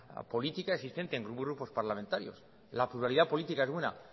política existente en grupos parlamentarios la pluralidad política es una